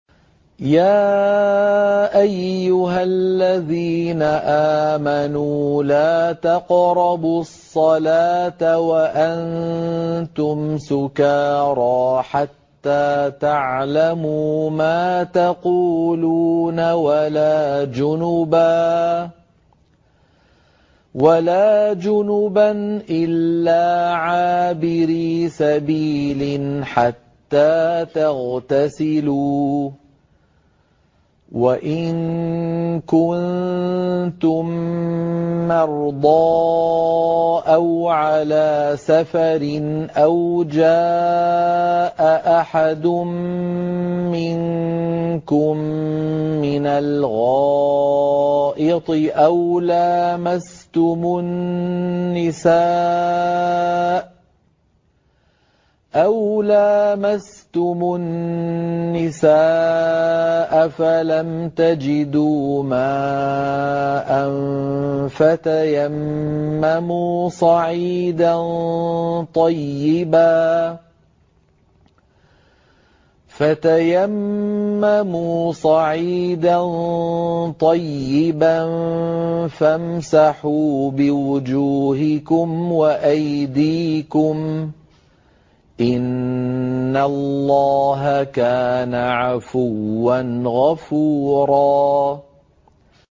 يَا أَيُّهَا الَّذِينَ آمَنُوا لَا تَقْرَبُوا الصَّلَاةَ وَأَنتُمْ سُكَارَىٰ حَتَّىٰ تَعْلَمُوا مَا تَقُولُونَ وَلَا جُنُبًا إِلَّا عَابِرِي سَبِيلٍ حَتَّىٰ تَغْتَسِلُوا ۚ وَإِن كُنتُم مَّرْضَىٰ أَوْ عَلَىٰ سَفَرٍ أَوْ جَاءَ أَحَدٌ مِّنكُم مِّنَ الْغَائِطِ أَوْ لَامَسْتُمُ النِّسَاءَ فَلَمْ تَجِدُوا مَاءً فَتَيَمَّمُوا صَعِيدًا طَيِّبًا فَامْسَحُوا بِوُجُوهِكُمْ وَأَيْدِيكُمْ ۗ إِنَّ اللَّهَ كَانَ عَفُوًّا غَفُورًا